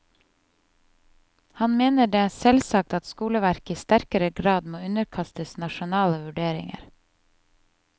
Han mener det er selvsagt at skoleverket i sterkere grad må underkastes nasjonale vurderinger.